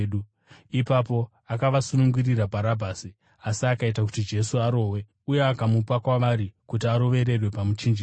Ipapo akavasunungurira Bharabhasi, asi akaita kuti Jesu arohwe, uye akamupa kwavari kuti arovererwe pamuchinjikwa.